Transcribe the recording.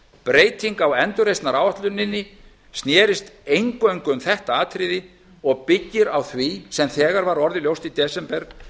breytingar á endurgreiðsluáætluninni snerust eingöngu um þetta atriði og byggir á því sem þegar var orðið ljóst í desember